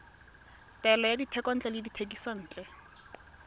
taolo ya dithekontle le dithekisontle